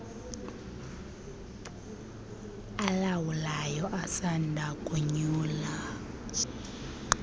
alawulayo asanda konyulwa